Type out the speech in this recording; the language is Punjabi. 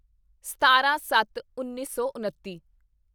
ਸਤਾਰਾਂਸੱਤਉੱਨੀ ਸੌ ਉਨੱਤੀ